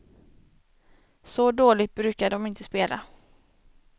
Så dåligt brukar de inte spela.